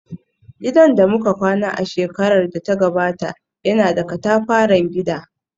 Gidan da muka kwana a shekarar da ta gabata yana da katafaren gida